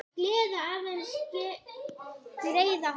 Gleði aðeins greiða kann.